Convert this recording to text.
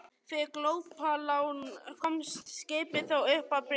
Fyrir glópalán komst skipið þó upp að bryggju.